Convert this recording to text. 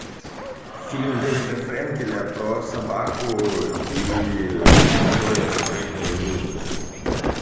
фильм дэвида френкеля про собаку и человека про их дружбу